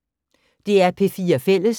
DR P4 Fælles